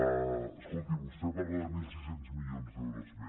escolti vostè parla de mil sis cents milions d’euros més